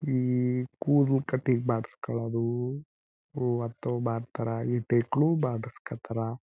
ಈ ಕೂದ್ಲು ಕಟಿಂಗ್ ಮಾಡ್ಸ್ಕೊಳೋದು ಅಂತವು ಮಾಡ್ತಾರಾ ಹೆಣ್ ಹೈಕ್ಳು ಮಾಡ್ಸಕತರ.